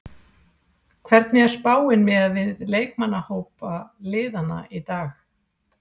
Hvernig er spáin miðað við leikmannahópa liðanna í dag?